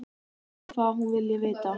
Spyr hvað hún vilji vita.